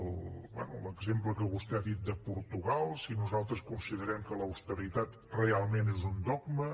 bé l’exemple que vostè ha dit de portugal si nosaltres considerem que l’austeritat realment és un dogma